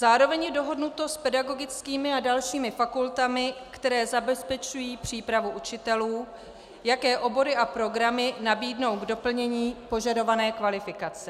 Zároveň je dohodnuto s pedagogickými a dalšími fakultami, které zabezpečují přípravu učitelů, jaké obory a programy nabídnou k doplnění požadované kvalifikace.